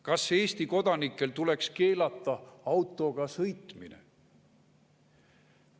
Kas Eesti kodanikel tuleks keelata autoga sõitmine?